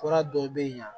Fura dɔw bɛ yen